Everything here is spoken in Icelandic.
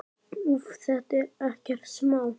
Úff, þetta er ekkert smá.